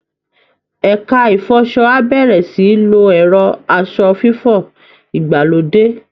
Ẹ̀ka ìfọṣọ á bẹ̀rẹ̀ sí í lo ẹ̀rọ aṣọ fífọ̀ ìgbàlódé